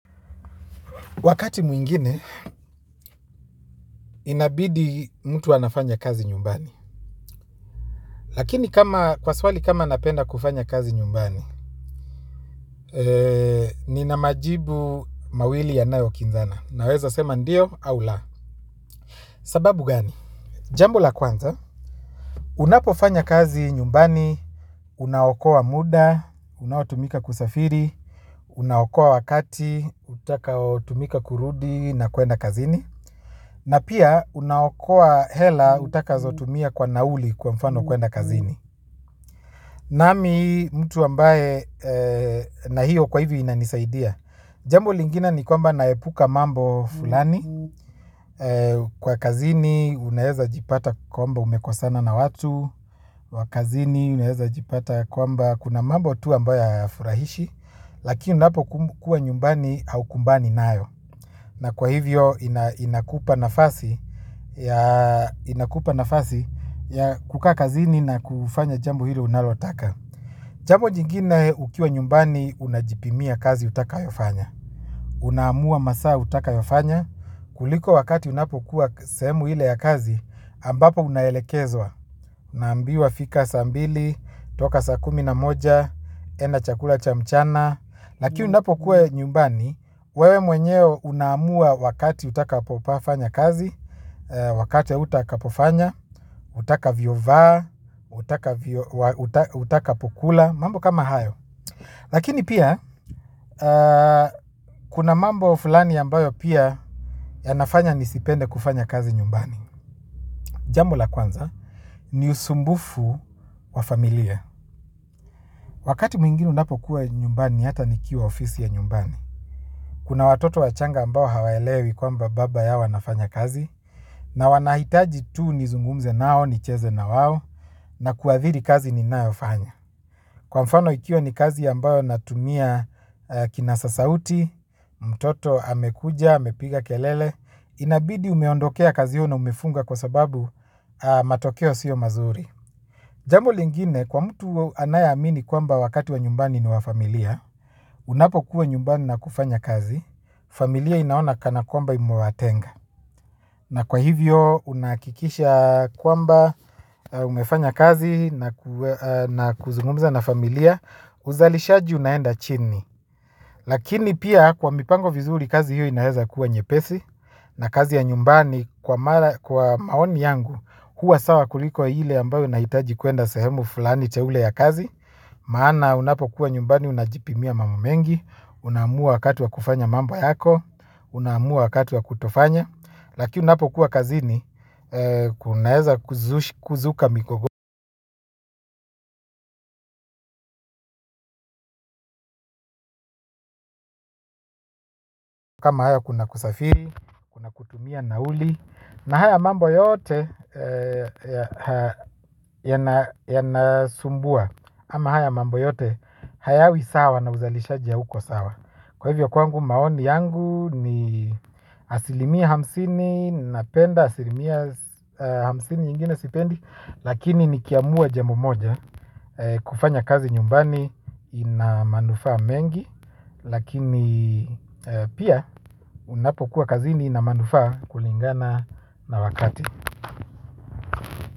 Wakati muingine inabidi mtu anafanya kazi nyumbani. Lakini kwa swali kama napenda kufanya kazi nyumbani nina majibu mawili yanayo kinzana. Naweza sema ndio au la sababu gani? Jambo la kwanza. Unapofanya kazi nyumbani. Unaokoa muda unaotumika kusafiri. Unaokoa wakati utaka otumika kurudi na kuenda kazini. Na pia unaokoa hela utaka zotumia kwa nauli kwa mfano kwenda kazini. Nami mtu ambaye na hiyo kwa hivyo inanisaidia. Jambu lingine ni kwamba naepuka mambo fulani. Kwa kazini, unaheza jipata kwamba umekosana na watu. Wakazini, unahezajipata kwamba. Kuna mambo tu ambaye hayafurahishi. Lakini unapo kukua nyumbani haukumbani naayo. Na kwa hivyo inakupa nafasi ya inakupa nafasi ya kukaa kazini na kufanya jambo hilo unalotaka. Jambo jingine ukiwa nyumbani, unajipimia kazi utaka yofanya. Unamua masaa utaka yofanya. Kuliko wakati unapokuwa semu hile ya kazi, ambapo unahelekezwa. Unambiwa fika sa ambili, toka sa kumi na moja, enda chakula cha mchana. Lakini unapokuwa nyumbani, wewe mwenyeo unamua wakati utaka popafanya kazi, wakati utaka popafanya, utaka viovaa, utaka utaka pokula mambo kama hayo. Lakini pia kuna mambo fulani ambayo pia ya nafanya nisipende kufanya kazi nyumbani jambo la kwanza ni usumbufu wafamilia wakati mingine unapo kuwa nyumbani hata nikiowa ofisi ya nyumbani kuna watoto wachanga ambao hawaelewi kwamba baba yao anafanya kazi na wanahitaji tu nizungumze nao nicheze na wawo na kuadhiri kazi ni naofanya kwa mfano ikio ni kazi ambayo natumia kinasa sauti, mtoto amekuja, amepiga kelele inabidi umeondokea kazio na umefunga kwa sababu matokeo siyo mazuri. Jambo lingine kwa mtu anayeamini kwamba wakati wa nyumbani ni wa familia, unapo kuwa nyumbani na kufanya kazi familia inaona kana kwamba imoatenga na kwa hivyo unakikisha kwamba umefanya kazi na kuzungumza na familia uzalishaji unaenda chini. Lakini pia kwa mipango vizuri kazi hiyo inaheza kuwa nyepesi. Na kazi ya nyumbani kwa maoni yangu kuwa sawa kuliko hile ambayo inahitaji kuenda sehemu fulani teule ya kazi. Maana unapo kuwa nyumbani unajipimia mambo mengi. Unamua wakati wa kufanya mambo yako. Unamua wakati wa kutofanya. Lakini unapo kuwa kazi ni kuna heza kuzuka mikogo kama haya kuna kusafiri. Tumia na uli na haya mambo yote yanasumbua. Ama haya mambo yote hayawi sawa na uzalisha hauko sawa. Kwa hivyo kwangu maoni yangu ni asilimia hamsini. Napenda asilimia hamsini nyingine sipendi. Lakini nikiamuwa jambo moja kufanya kazi nyumbani inamanufa mengi. Lakini pia unapokuwa kazini inamanufa kulingana na wakati.